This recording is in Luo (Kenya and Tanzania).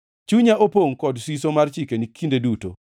Chunya opongʼ kod siso mar chikeni kinde duto.